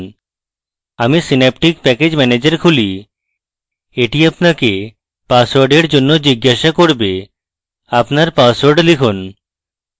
আমি synaptic package manager খুলি এটি আপনাকে পাসওয়ার্ডের জন্য জিজ্ঞাসা করবে আপনার পাসওয়ার্ড লিখুন